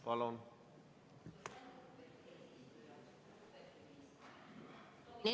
Palun!